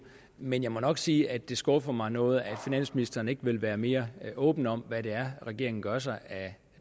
men jeg må nok sige at det skuffer mig noget at finansministeren ikke vil være mere åben om hvad det er regeringen gør sig af